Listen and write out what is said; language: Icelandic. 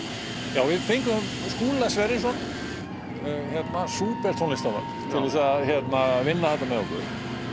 já við fengum Skúla Sverrisson súpertónlistarmann til að vinna þetta með okkur